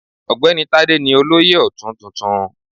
Ogbeni Tade ni Olóyè Otun tuntun.